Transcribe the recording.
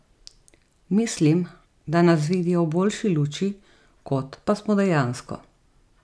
Mislim, da nas vidijo v boljši luči, kot pa smo dejansko.